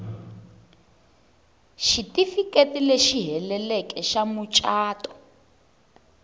xitifiketi lexi heleleke xa mucato